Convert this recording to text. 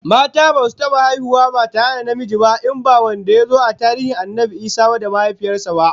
Mata basu taba haihuwa ba ba tare da namiji ba, in ba wanda yazo a tarihin Annabi Isa da mahaifiyar sa ba.